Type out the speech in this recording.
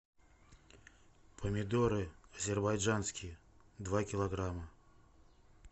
помидоры азербайджанские два килограмма